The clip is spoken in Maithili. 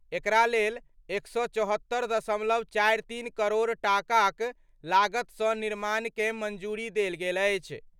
एकरा लेल 174.43 करोड़ टाकाक लागतसँ निर्माणकँ मंजूरी देल गेल अछि।